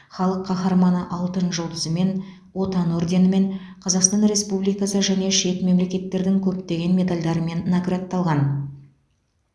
халық қаһарманы алтын жұлдызымен отан орденімен қазақстан республикасы және шет мемлекеттердің көптеген медальдарымен наградталған